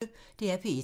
DR P1